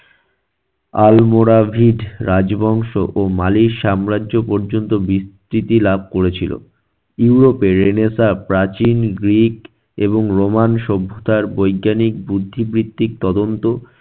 আল মোরা ভিড রাজবংশ ও মালির সাম্রাজ্য পর্যন্ত বিস্তৃতি লাভ করেছিল। ইউরোপের রেনেসাঁ প্রাচীন গ্রীক এবং রোমান সভ্যতার বৈজ্ঞানিক বুদ্ধি বৃদ্ধিক তদন্ত